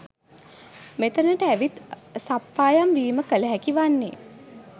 මෙතැනට ඇවිත් සප්පායම් වීම කළ හැකි වන්නේ